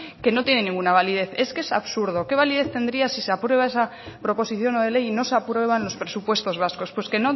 que no tiene ninguna validez es que es absurdo qué validez tendría si se aprueba esa proposición no de ley y no se aprueban los presupuestos vascos pues que